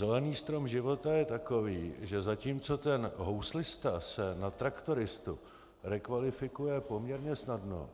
Zelený strom života je takový, že zatímco ten houslista se na traktoristu rekvalifikuje poměrně snadno,